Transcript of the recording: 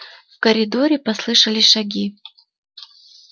в коридоре послышались шаги